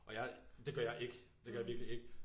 Og jeg det gør jeg ikke det gør jeg virkelig ikke